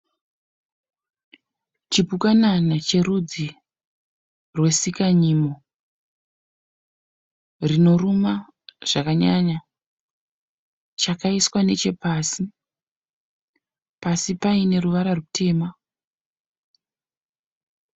Chipukanana cherudzi rwesika nyimo rino ruma zvakanyanya. Chakaiswa nechepasi. Pasi paine ruvara rutema.